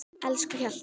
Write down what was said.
Elsku Hjalti.